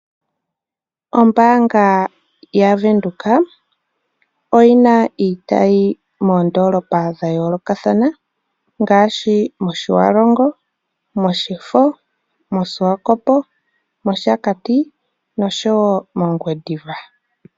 Ombaanga ya Venduka oyi na iitayi moondolopa dha yoolokathana ngaashi mOtjiwarongo, mOshifo, mOshiwakopo, mOshakati nosho wo mOngwediva.